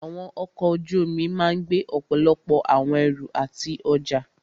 Àwọn ọkọ̀ ojú omi máà gbé ọ̀pọ̀lọpọ̀ àwọn ẹrù àti ọjá.